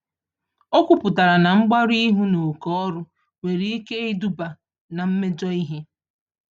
Okwuputara na mgbarụ-ihu na oké ọrụ, nwere ike iduba na mmejọ ihe